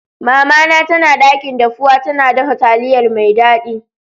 Mama na tana dakin dafuwa, tana dafa taliyar mai daddi.